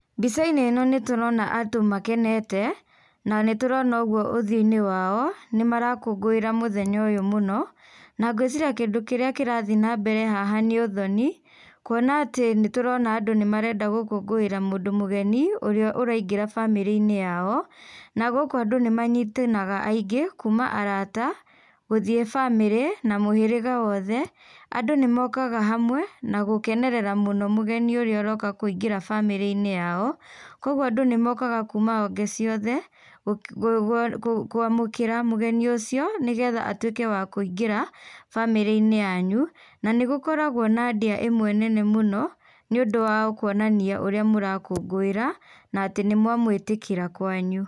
Mbica-inĩ ĩno nĩ tũrona andũ makenete na nĩ tũrona ũguo ũthiũ-inĩ wao, nĩ marakũngũĩra mũthenya ũyũ mũno na ngwĩciria kĩndũ kĩrĩa kĩrathiĩ nambere haha nĩ ũthoni. Kuona atĩ nĩ tũrona andũ nĩ marenda gũkũngũĩra mũndũ mũgeni ũrĩa ũraingĩra bamĩrĩ-inĩ yao. Na gũkũ andũ nĩ manyitanaga aingĩ kuuma arata, gũthiĩ bamĩrĩ na mũhĩrĩga wothe. Andũ nĩ mokaga hamwe na gũkenerera mũno mũgeni ũrĩa ũroka kũingĩra bamĩrĩ-inĩ yao. Kwoguo andũ nĩ mokaga kuuma honge ciothe kũamũkĩra mũgeni ũcio nĩgetha atuĩke wa kũingĩra bamĩrĩ-inĩ yanyu. Na nĩgũkoragwo na ndĩa ĩmwe nene mũno nĩũndũ wa kuonania ũrĩa mũrakũngũĩra na atĩ nĩ mũamũĩtĩkĩra kwanyu.